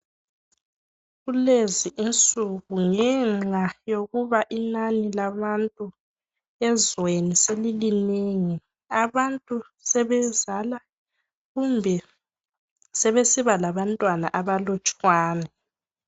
Kulezi insuku ngenxa yokuba inani labantu ezweni selilinengi. Abantu sebezala kumbe sebesiba labantwana abalutshwane.